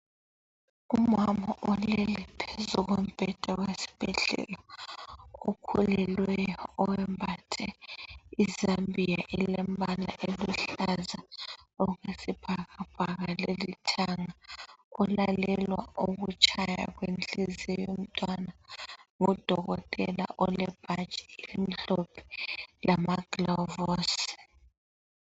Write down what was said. Umama olele phezu kombheda wesibhedlela okhulelwelyo oyembathe izambia elombala oluhlaza okwesibhakabhaka lolithanga ulalelwa ukutshaya kwenhliziyo yomntwana ngudokotela olebhatshi elimhlophe lamagilovisi.